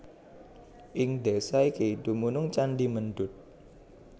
Ing desa iki dumunung candhi Mendut